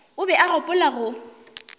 o be a gopola go